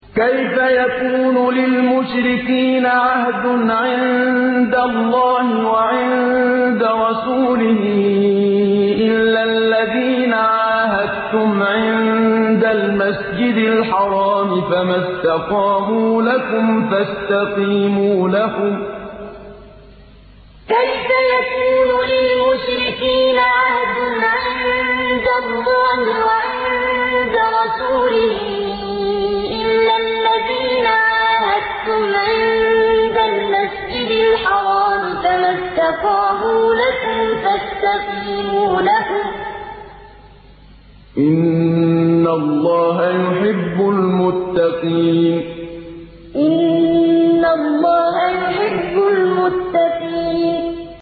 كَيْفَ يَكُونُ لِلْمُشْرِكِينَ عَهْدٌ عِندَ اللَّهِ وَعِندَ رَسُولِهِ إِلَّا الَّذِينَ عَاهَدتُّمْ عِندَ الْمَسْجِدِ الْحَرَامِ ۖ فَمَا اسْتَقَامُوا لَكُمْ فَاسْتَقِيمُوا لَهُمْ ۚ إِنَّ اللَّهَ يُحِبُّ الْمُتَّقِينَ كَيْفَ يَكُونُ لِلْمُشْرِكِينَ عَهْدٌ عِندَ اللَّهِ وَعِندَ رَسُولِهِ إِلَّا الَّذِينَ عَاهَدتُّمْ عِندَ الْمَسْجِدِ الْحَرَامِ ۖ فَمَا اسْتَقَامُوا لَكُمْ فَاسْتَقِيمُوا لَهُمْ ۚ إِنَّ اللَّهَ يُحِبُّ الْمُتَّقِينَ